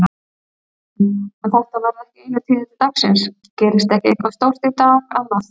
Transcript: Kristján: En þetta verða ekki einu tíðindi dagsins, gerist ekki eitthvað stórt í dag annað?